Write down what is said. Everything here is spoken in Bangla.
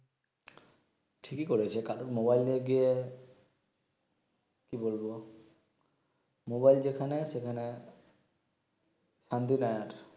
ঠিকি করেছে মোবাইল নিয়ে গিয়ে কি বলবো মোবাইল যেখানে সেখানে শান্তি নাই আর